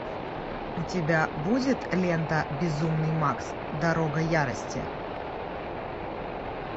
у тебя будет лента безумный макс дорога ярости